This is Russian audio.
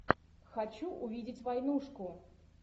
хочу увидеть войнушку